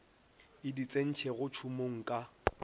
e di tsentšego tšhomong ka